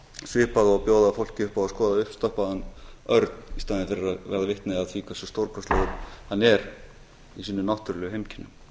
svipað og að bjóða fólki upp á skoða uppstoppaðan örn í staðinn fyrir að verða vitni að því hversu stórkostlegur hann er í sínum náttúrulegu heimkynnum